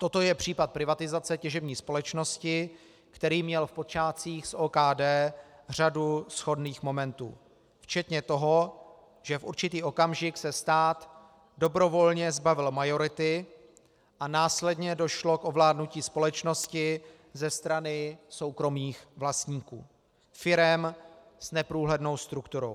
Toto je případ privatizace těžební společnosti, který měl v počátcích s OKD řadu shodných momentů, včetně toho, že v určitý okamžik se stát dobrovolně zbavil majority a následně došlo k ovládnutí společnosti ze strany soukromých vlastníků, firem s neprůhlednou strukturou.